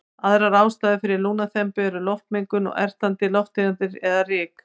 Aðrar ástæður fyrir lungnaþembu eru loftmengun og ertandi lofttegundir eða ryk.